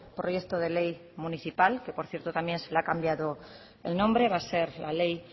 proyecto de ley municipal que por cierto también se le ha cambiado el nombre va a ser la ley